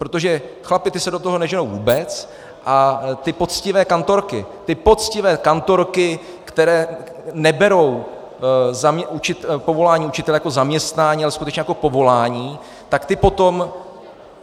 Protože chlapi, ti se do toho neženou vůbec, a ty poctivé kantorky, ty poctivé kantorky, které neberou povolání učitele jako zaměstnání, ale skutečně jako povolání, tak ty potom